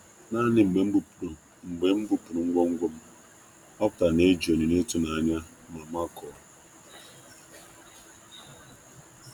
um Naanị mgbe m bupụrụ um ngwongwo m, ọ um pụtara na-eji onyinye ịtụnanya ma makụọ.